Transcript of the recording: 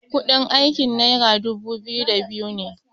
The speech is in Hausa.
kudin aiki naira dubu biyu da biyu ne